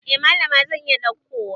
Eh Mallama zan iya daukowa.